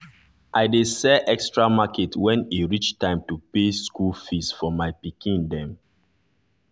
i dey sell extra market when e reach time to pay school fees for my pikin dem